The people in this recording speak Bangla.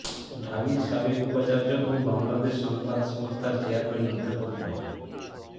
ঢাবির সাবেক উপাচার্য ও বাংলাদেশ সংবাদ সংস্থার চেয়ারম্যান অধ্যাপক ড